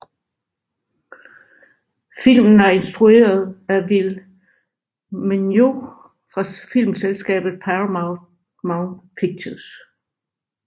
Filmen er instrueret af Will Meugniot og fra filmselskabet Paramount Pictures